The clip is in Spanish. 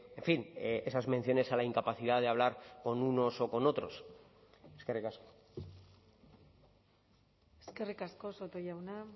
en fin esas menciones a la incapacidad de hablar con unos o con otros eskerrik asko eskerrik asko soto jauna